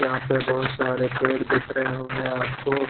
यहा पे बोहोत सारे पेड़ दिख रहे होंगे आप को--